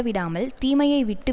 விடாமல் தீமையை விட்டு